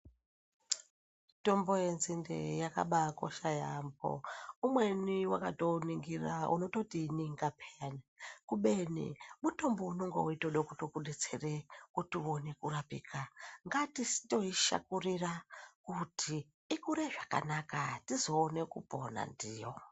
Mitombo yenzind eyakabaa kosha yaampo Umweni wakatouningira unototiininga payani ubeni mutombo unonga weitode kutokudetsere kuti uone kurapika ngatisitoishakurira kuti ikure svakanaka tizoone kupona ndiyo.